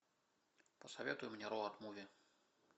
посоветуй мне роуд муви